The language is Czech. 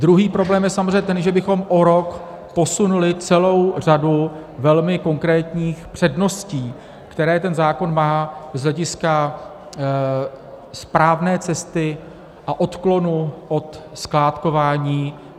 Druhý problém je samozřejmě ten, že bychom o rok posunuli celou řadu velmi konkrétních předností, které ten zákon má z hlediska správné cesty a odklonu od skládkování.